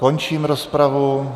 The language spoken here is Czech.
Končím rozpravu.